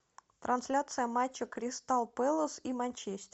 трансляция матча кристал пэлас и манчестер